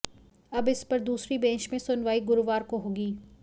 अब इस पर दूसरी बेंच में सुनवाई गुरुवार को होगी